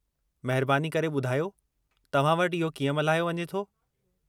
महिबानी करे ॿुधायो, तव्हां वटि इहो कीअं मल्हायो वञे थो?